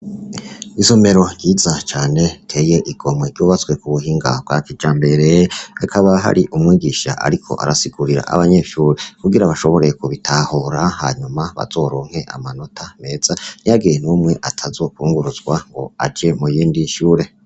Isomero ryiza cane riteye igomwe ryubatswe kubuhinga bwa kijambere hakaba hari umwigisha ariko arasigurira abanyeshure kugira bashobore kubitahura hanyuma bazoronke amanota meza ntihagire numwe atazokwunguruzwa ngo aje muyindi shure.